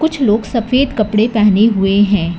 कुछ लोग सफेद कपड़े पहने हुए हैं।